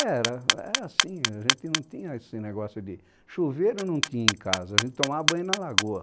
Era assim, a gente não tinha esse negócio de... Chuveiro não tinha em casa, a gente tomava banho na lagoa.